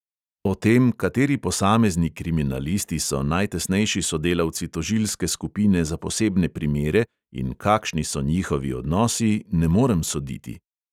O tem, kateri posamezni kriminalisti so najtesnejši sodelavci tožilske skupine za posebne primere in kakšni so njihovi odnosi, ne morem soditi.